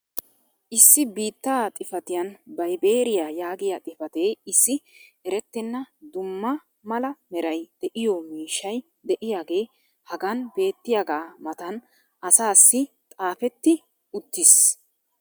issi biita xifatiyan vibeeriyaa yaagiya xifatee issi erettenna dumma mala meray de'iyo miishshay diyaagee hagan beetiyaagaa matan asaassi xaafetti uttiis.